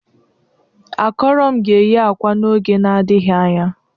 Akọro m ga-eyi akwa n'oge n'adịghị anya.